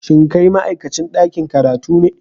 Shin kai ma'aikacin dakin karatu ne?